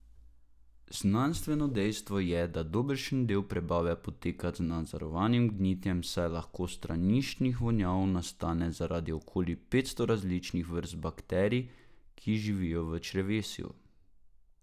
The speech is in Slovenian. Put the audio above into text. Znanstveno dejstvo je, da dobršen del prebave poteka z nadzorovanim gnitjem, saj veliko straniščnih vonjav nastane zaradi okoli petsto različnih vrst bakterij, ki živijo v črevesju.